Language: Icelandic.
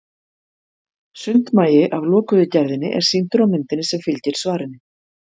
Sundmagi af lokuðu gerðinni er sýndur á myndinni sem fylgir svarinu.